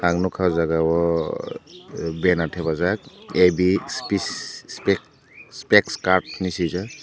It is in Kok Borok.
ang nugkha aw jaaga o banner thapajak a b spack cart henui swijak.